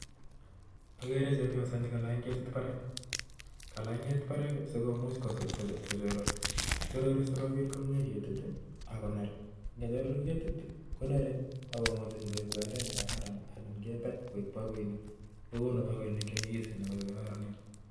Akere cheboiso nekalany ketit barak kalany ketit barak sikomuch ko choror chorori sikobit komye ketit ako ner ngechoror ketit konere akomuchi koek kwendet ne kararan anan kebet koek baoinik kokonu baoinik chenyigisen ako kororonen